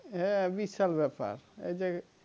হ্যাঁ বিশাল ব্যাপার এই যে,